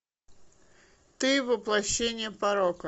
ты воплощение порока